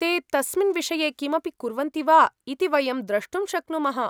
ते तस्मिन् विषये किमपि कुर्वन्ति वा इति वयं द्रष्टुं शक्नुमः।